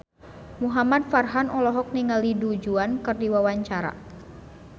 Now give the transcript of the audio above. Muhamad Farhan olohok ningali Du Juan keur diwawancara